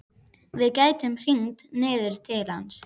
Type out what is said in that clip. Við gætum hringt niður til hans.